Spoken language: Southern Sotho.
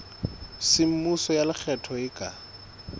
semmuso ya lekgetho e ka